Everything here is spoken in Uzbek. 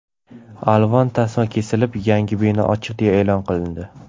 Alvon tasma kesilib, yangi bino ochiq deya e’lon qilindi.